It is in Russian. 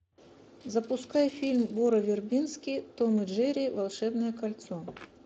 запускай фильм горы вербински том и джерри волшебное кольцо